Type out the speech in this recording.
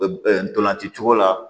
Ntolanci cogo la